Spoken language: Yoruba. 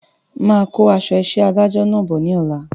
Máa kó aṣọ isẹ́ adájọ náà bọ̀ ní ọ̀la